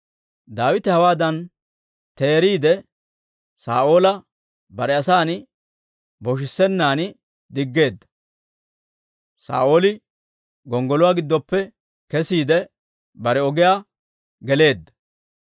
Daawite hawaadan seeriide, Saa'oola bare asan boshissennaan diggeedda. Saa'ooli gonggoluwaa giddoppe kesiide, bare ogiyaan geleedda.